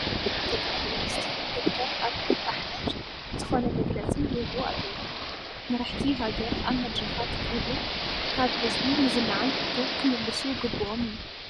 ጠቅላይ ሚኒስተር ዶክተር ዓብዪ ኣሕመድ ዝኾነ መግለፂ ይህቡ ኣለው፡፡ መራሕቲ ሃገር ኣብ መድረኻት ክህቡን ካብ ህዝቢ ንዝለዓል ህቶ ክምልሱ ግቡኦም እዩ፡፡